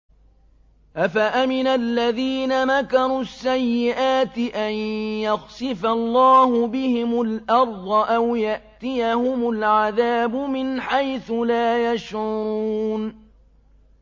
أَفَأَمِنَ الَّذِينَ مَكَرُوا السَّيِّئَاتِ أَن يَخْسِفَ اللَّهُ بِهِمُ الْأَرْضَ أَوْ يَأْتِيَهُمُ الْعَذَابُ مِنْ حَيْثُ لَا يَشْعُرُونَ